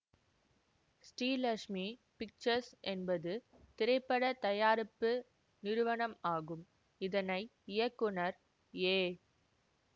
Srilakshmi pictures என்பது திரைப்பட தயாரிப்பு நிறுவனம் ஆகும் இதனை இயக்குநர் ஏ